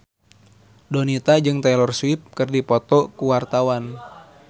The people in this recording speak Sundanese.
Donita jeung Taylor Swift keur dipoto ku wartawan